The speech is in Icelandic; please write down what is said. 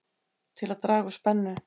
Til að draga úr spennu